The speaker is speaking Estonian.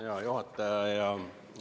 Hea juhataja!